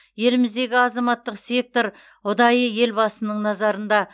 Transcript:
еліміздегі азаматтық сектор ұдайы елбасының назарында